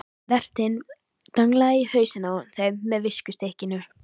Vertinn danglaði í hausinn á þeim með viskustykkinu.